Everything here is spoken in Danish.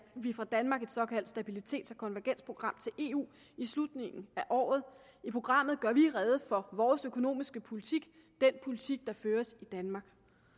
vi fra danmark et såkaldt stabilitets og konvergensprogram til eu i slutningen af året i programmet gør vi rede for vores økonomiske politik den politik der føres i danmark